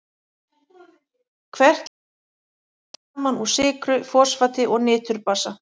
Hvert kirni er aftur sett saman úr sykru, fosfati og niturbasa.